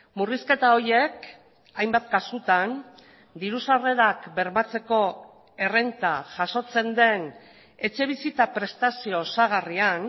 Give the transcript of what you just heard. murrizketa horiek hainbat kasutan diru sarrerak bermatzeko errenta jasotzen den etxebizitza prestazio osagarrian